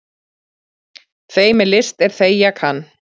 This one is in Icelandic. Þeim er list er þegja kann.